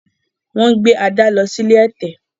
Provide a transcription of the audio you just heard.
Wón gé Ada ló sì ilé ẹ̀tẹ̀.